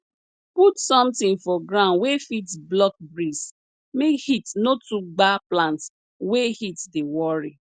put sometin for ground wey fit block breeze make heat no too gba plant wey heat dey worry